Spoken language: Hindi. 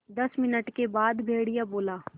दस मिनट के बाद भेड़िया बोला